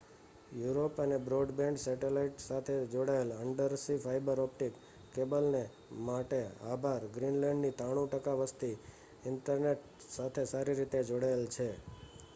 Europe અને broadband satellite સાથે જોડાયેલ અન્ડરસી ફાઇબર ઓપ્ટિક કેબલને માટે આભાર ગ્રીનલેન્ડની 93% વસ્તી ઇન્ટરનેટ સાથે સારી રીતે જોડાયેલ છે